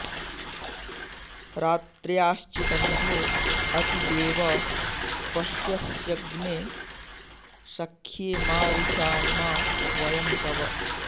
रात्र्या॑श्चि॒दन्धो॒ अति॑ देव पश्य॒स्यग्ने॑ स॒ख्ये मा रि॑षामा व॒यं तव॑